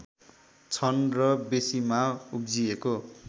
छन् र बेँसीमा उब्जिएको